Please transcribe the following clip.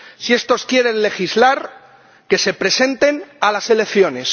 Si estos quieren legislar, que se presenten a las elecciones